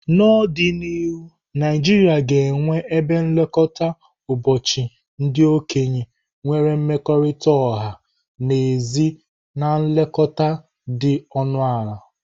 N'ọdịnihu, Naijiria ga-enwe ebe nlekọta ụbọchị ndị okenye nwere mmekọrịta ọha na ezi na nlekọta dị ọnụ ala.